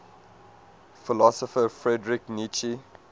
philosopher friedrich nietzsche